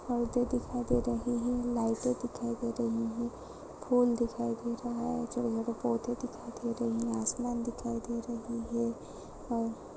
औरते दिखाई दे रही है लाइटे दिखाई दे रही है फूल दिखाई दे रहा है जो पेड़ पौधे दिखाई दे रहे है आसमान दिखाई दे रही है और--